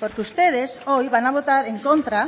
porque ustedes hoy van a votar en contra